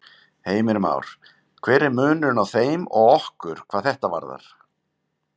Heimir Már: Hver er munurinn á þeim og okkur hvað þetta varðar?